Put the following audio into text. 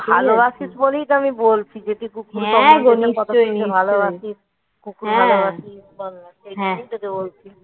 ভালোবাসিস বলেই তো আমি বলছি যে তুই খুব ভালোবাসিস কুকুর ভালোবাসিস ওইজন্যই তোকে বলছি